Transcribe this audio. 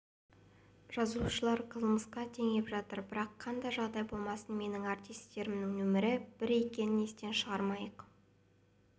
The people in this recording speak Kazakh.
жазушылар қылмысқа теңеп жатыр бірақ қандай жағдай болмасын менің артистерімнің нөмірі бір екенін естен шығармайық